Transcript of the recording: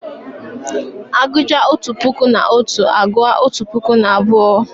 A gụchaa otu puku na otu, a gụọ otu puku na abụọ